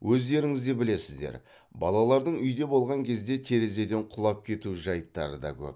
өздеріңізде білесіздер балалардың үйде болған кезде терезеден құлап кету жайттары да көп